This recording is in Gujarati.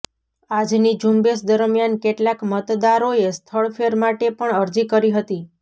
આજની ઝુંબેશ દરમિયાન કેટલાક મતદારોએ સ્થળ ફેર માટે પણ અરજી કરી હતી